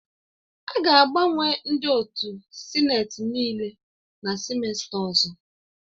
A ga-agbanwe ndị otu sineti nịịle na sịmesta ọzọ